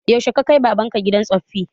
Yaushe ka kai baban ka gidan tsoffi?